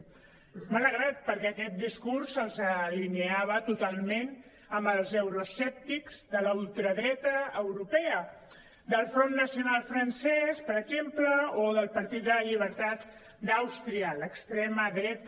m’ha alegrat perquè aquest discurs els alineava totalment amb els euroescèptics de la ultradreta europea del front nacional francès per exemple o del partit de la llibertat d’àustria l’extrema dreta